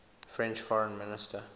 french foreign minister